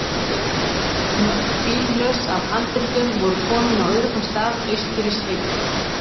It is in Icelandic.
Mörg bílhlöss af handritum voru komin á öruggan stað austur í sveitum.